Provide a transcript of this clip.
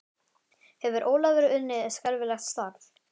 Hefur Ólafur unnið skelfilegt starf?